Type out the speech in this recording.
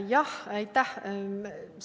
Jah, aitäh!